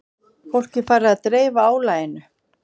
Fólk er farið að dreifa álaginu